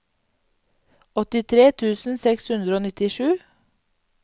åttitre tusen seks hundre og nittisju